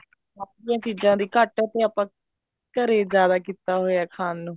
ਬਾਹਰਲੀਆਂ ਚੀਜ਼ਾਂ ਦੀ ਘੱਟ ਤੇ ਆਪਾਂ ਘਰੇ ਜਿਆਦਾ ਕੀਤਾ ਹੋਇਆ ਖਾਣ ਨੂੰ